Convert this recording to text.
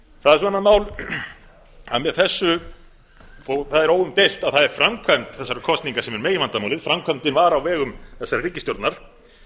það er með þessu og það er óumdeilt að það er framkvæmd þessara kosninga sem er meginvandamálið framkvæmdin var á vegum þessarar ríkisstjórnar